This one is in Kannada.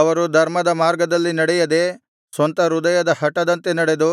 ಅವರು ಧರ್ಮದ ಮಾರ್ಗದಲ್ಲಿ ನಡೆಯದೆ ಸ್ವಂತ ಹೃದಯದ ಹಟದಂತೆ ನಡೆದು